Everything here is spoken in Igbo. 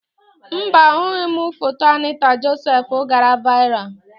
Mba, ahụghị m foto Anịta Josef gara vaịral.